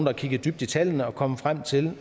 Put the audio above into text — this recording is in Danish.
har kigget dybt i tallene og kommet frem til